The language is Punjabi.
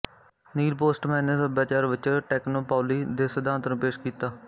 ਨੀਲ ਪੋਸਟਮੈਨ ਨੇ ਸੱਭਿਆਚਾਰ ਵਿੱਚ ਟੈਕਨੋਪੌਲੀ ਦੇ ਸਿਧਾਂਤ ਨੂੰ ਪੇਸ਼ ਕੀਤਾ